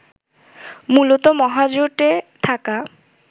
মূলত মহাজোটে থাকা